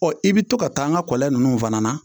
Ɔ i bɛ to ka taa n ka kɔlɔn ninnu fana na